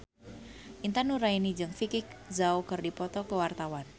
Intan Nuraini jeung Vicki Zao keur dipoto ku wartawan